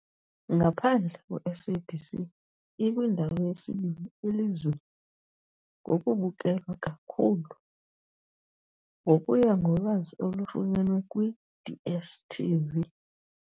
Ngaphandle kweSABC, ikwindawo yesibini elizweni ngokubukelwa kakhulu, ngokuya ngolwazi olufunyenwe kwi-DStv .